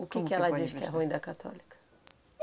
O que que ela diz que é ruim da católica?